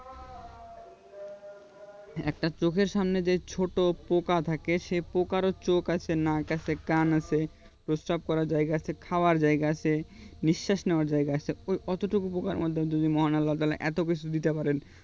একটা চোখের সামনে যে ছোট পোকা থাকে সেই পোকারও চোখ আছে নাক আছে কান আছে পস্রাব করার জায়গা আছে খাওয়ার জায়গা আছে নিঃস্বাস নেওয়ার জায়গা আছে ওই অতটুকু পোকার মধ্যে যদি মহান আল্লাহ তালা তাহলে এতো কিছু দিতে পারেন